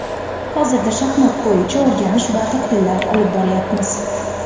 Hozirda shaxmat bo‘yicha o‘rganish va tahlillar olib boryapmiz.